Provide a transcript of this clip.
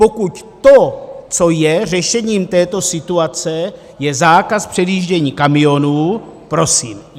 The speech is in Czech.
Pokud to, co je řešením této situace, je zákaz předjíždění kamionů, prosím.